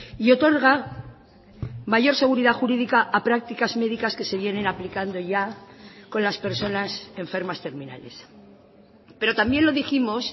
y otorga mayor seguridad jurídica a prácticas médicas que se vienen aplicando ya con las personas enfermas terminales pero también lo dijimos